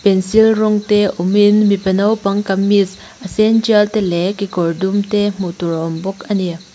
pencil rawng te awmin mipa naupang kamis a sen tial te leh kekawr dum te hmuh tur a awm bawk ani.